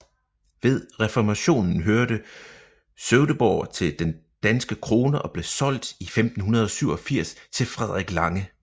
Ved reformationen hørte Sövdeborg til den danske krone og blev solgt i 1587 til Frederik Lange